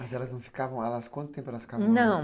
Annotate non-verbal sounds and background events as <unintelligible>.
Mas elas não ficavam, <unintelligible> quanto tempo elas ficavam? Não,